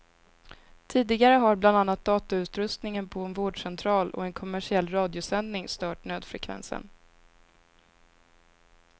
Tidigare har bland annat datautrustningen på en vårdcentral och en kommersiell radiosändning stört nödfrekvensen.